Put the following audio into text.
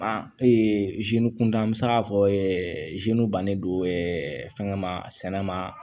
An kun da an bɛ se k'a fɔ bannen don fɛngɛ ma sɛnɛ ma